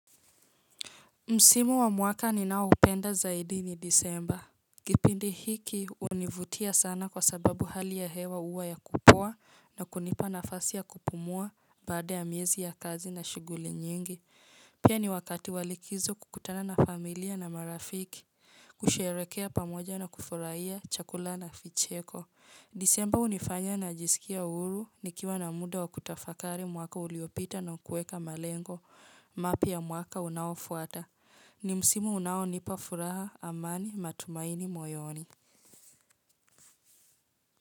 Msimu wa mwaka ninaoupenda zaidi ni Disemba. Kipindi hiki univutia sana kwa sababu hali ya hewa uwa ya kupua na kunipa nafasi ya kupumua baada ya miezi ya kazi na shughuli nyingi. Pia ni wakati walikizo kukutana na familia na marafiki. Kusherekea pamoja na kufuraia chakula na ficheko. Disemba unifanya najisikia uuru nikiwa na muda wa kutafakari mwaka uliopita na kueka malengo mapya mwaka unaoafuata. Ni msimu unaonipa furaha, amani matumaini moyoni.